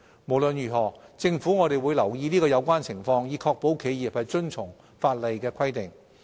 無論如何，政府會留意有關情況，以確保企業遵從法例的規定。